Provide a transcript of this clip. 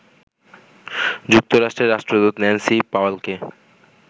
যুক্তরাষ্ট্রের রাষ্ট্রদূত ন্যান্সি পাওয়েলকে